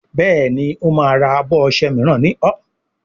Béèni o má rà abọ ọṣẹ míràn ní ol.